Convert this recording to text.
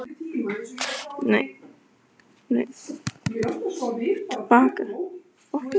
Hersir, hvernig leggst aldurinn í félagsmenn?